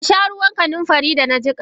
Kasha ruwan kanunfari da na jika.?